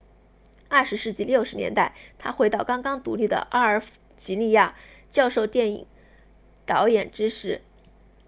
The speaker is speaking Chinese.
20世纪60年代他回到刚刚独立的阿尔及利亚教授电影导演知识